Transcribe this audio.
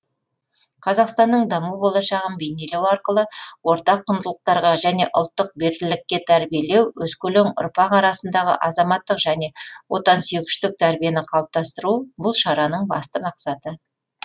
қазақстанның даму болашағын бейнелеу арқылы ортақ құндылықтарға және ұлттық бірлікке тәрбиелеу өскелең ұрпақ арасындағы азаматтық және отансүйгіштік тәрбиені қалыптасыру бұл шараның басты мақсаты